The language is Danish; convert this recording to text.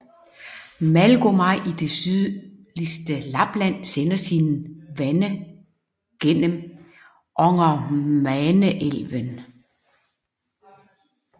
Malgomaj i det sydligste Lapland sender sine vande gennem Ångermanelven